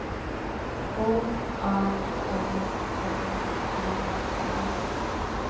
H A M N E N